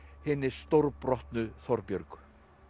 hinni stórbrotnu Þorbjörgu